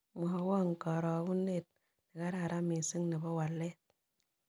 Mwawon karogunet nekararan miising' ne po walet